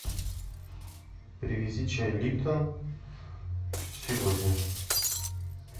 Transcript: привези чай липтон сегодня